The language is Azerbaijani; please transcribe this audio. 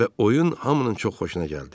Və oyun hamının çox xoşuna gəldi.